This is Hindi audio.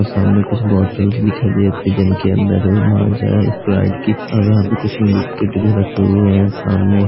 और सामने कुछ बोतल दिखाई दे फ्रिज के अंदर माजा है स्प्राइट की और यहाँ पे कुछ बिस्किट भी रखे हुए हैं सामने --